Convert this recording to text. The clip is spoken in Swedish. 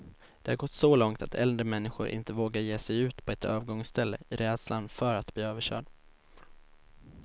Det har gått så långt att äldre människor inte vågar ge sig ut på ett övergångsställe, i rädslan för att bli överkörd.